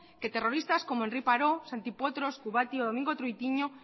que terroristas como henri parot santi potros kubati o domingo troitiño